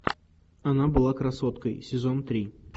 она была красоткой сезон три